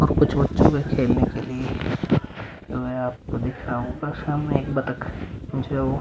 और कुछ बच्चों के खेलने के लिए --